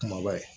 Kumaba ye